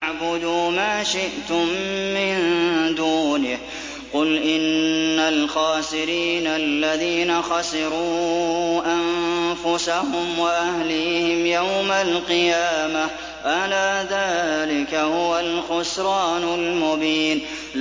فَاعْبُدُوا مَا شِئْتُم مِّن دُونِهِ ۗ قُلْ إِنَّ الْخَاسِرِينَ الَّذِينَ خَسِرُوا أَنفُسَهُمْ وَأَهْلِيهِمْ يَوْمَ الْقِيَامَةِ ۗ أَلَا ذَٰلِكَ هُوَ الْخُسْرَانُ الْمُبِينُ